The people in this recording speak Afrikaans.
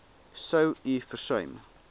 sou u versuim